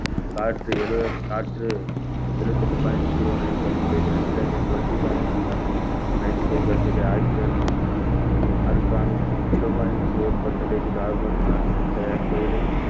காற்று எழு~ காற்று எழுவதுஎட்டு point zero nine percentage nitrogen twenty point ten~ ninety-five percent oxygen organic zero point four percentage carbon dioxide